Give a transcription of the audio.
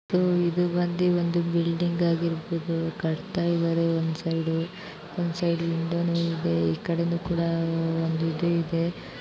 ಇದು ಬಂದು ಒಂದು ಬಿಲ್ಡಿಂಗ್ ಆಗಿರುತ್ತದೆ ಹಿಂದೆಗಡೆ ಕೂಡ ಒಂದಿದಿದೆ